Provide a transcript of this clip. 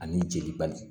Ani jeli bali